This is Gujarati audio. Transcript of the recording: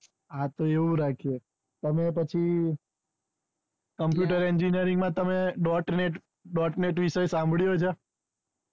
હતો એવું રાખીયે તમે પછી computer engineering માં તમે dot netdot net વિષે સાંભળ્યું છે